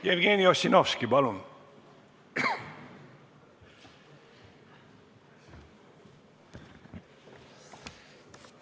Jevgeni Ossinovski, palun!